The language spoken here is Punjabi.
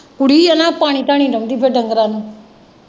ਕੁੜੀ ਆ ਨਾ ਪਾਣੀ ਢਾਣੀ ਲਾਉਂਦੀ ਡੰਗਰਾਂ ਨੂੰ।